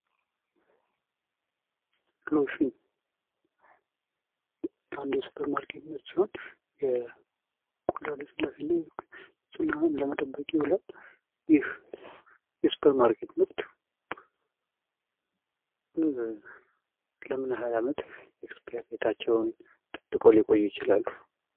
ሎሽን አንዱ የሱፐርማርኬት ምርት ሲሆን የቆዳ ልስላሴና ንህና ለመጠበቅ ይውላል ይህ የ ሱፐር ማርኬት ምርት ለምን ያህል አመት ኤክስፓየርዴታቸውን ጠብቀው ሊቆዩ ይችላሉ?